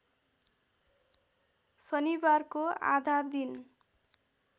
शनिबारको आधा दिन